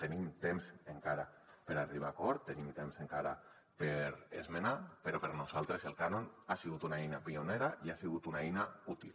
tenim temps encara per arribar a acord tenim temps encara per esmenar però per nosaltres el cànon ha sigut una eina pionera i ha sigut una eina útil